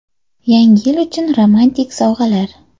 Yangi yil uchun romantik sovg‘alar.